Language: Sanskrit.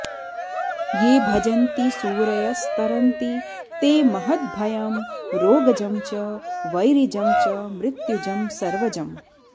ये भजन्ति सूरयस्तरन्ति ते महद्भयं रोगजं च वैरिजं च मृत्युजं सर्वजम्